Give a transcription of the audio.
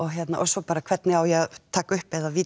svo bara hvernig á ég að taka upp eða